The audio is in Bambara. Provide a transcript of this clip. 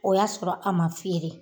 O y'a sɔrɔ a ma fiyere